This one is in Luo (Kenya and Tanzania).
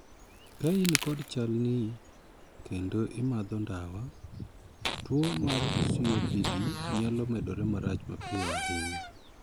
Ka in kod chal nii kendo imadho ndawa, tuo mar 'COPD' nyalo medore marach mapiyo ahinya.